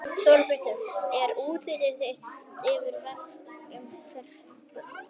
Þorbjörn Þórðarson: Er útlit fyrir að það verði eitthvað umhverfistjón vegna slyssins?